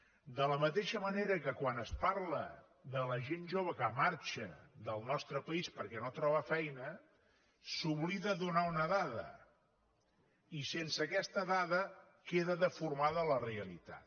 de la mateixa manera que quan es parla de la gent jove que marxa del nostre país perquè no troba feina s’oblida donar una dada i sense aquesta dada queda deformada la realitat